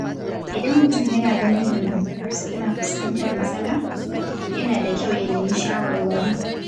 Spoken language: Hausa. Idan mutum yana ganin dangantakarsa tana fuskantar matsala, yana da kyau ya nemi shawarwari.